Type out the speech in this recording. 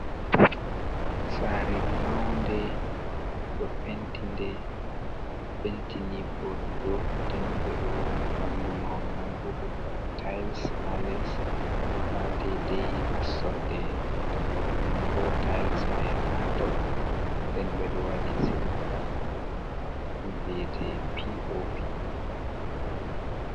Saare maunde ɗo penti ni vooɗugo den ɓe ɗo wanni ɗum mahol mambo be tai, s ha les ha dei dei nassorde dammug mambo tais mai ha dou den ɓe ɗo waɗi silim zamanu beete pop.